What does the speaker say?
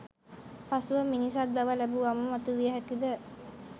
පසුව මිනිසත් බව ලැබුවාම මතුවිය හැකිද?